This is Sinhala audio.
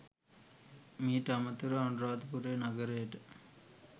මීට අමතරව අනුරාධපුර නගරයට